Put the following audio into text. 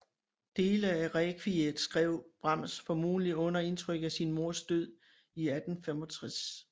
Dele af Rekviet skrev Brahms formodentlig under indtryk af sin mors død i 1865